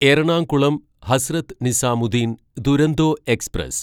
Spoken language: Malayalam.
എറണാകുളം ഹസ്രത്ത് നിസാമുദ്ദീൻ ദുരന്തോ എക്സ്പ്രസ്